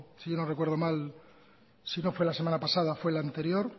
si no recuerdo mal si no fue la semana pasada fue la anterior